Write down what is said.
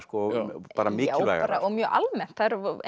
og bara mikilvægara og mjög almennt